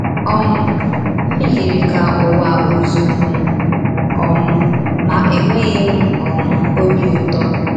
um Ọ yiri ka ụwa ọ̀ zụụrụ m um, ma enweghị m um ọbi ụtọ.